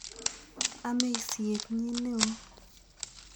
Amei siet nyi ne oo.